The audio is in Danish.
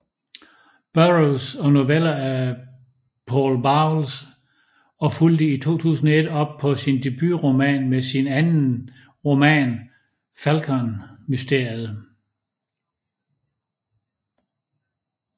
Burroughs og noveller af Paul Bowles og fulgte i 2001 op på sin debutroman med sin anden roman Falkonmysteriet